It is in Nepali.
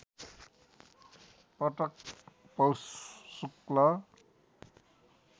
पटक पौष शुक्ल